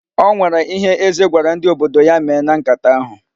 O nwere ihe Eze gwara ndị odibo ya mee na nkata ahụ.